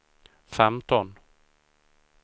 femton